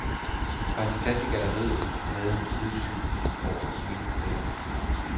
Fra sin plads i galleriet har han udsyn over hele teatret.